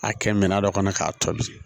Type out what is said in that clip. A kɛ minɛn dɔ kɔnɔ k'a tobi